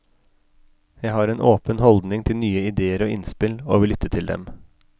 Jeg har en åpen holdning til nye ideér og innspill, og vil lytte til dem.